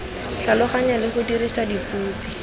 tlhaloganya le go dirisa dipopi